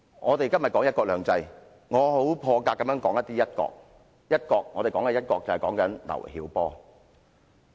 我們今天談"一國兩制"，我很破格地談涉及"一國"的事宜，談及劉曉波。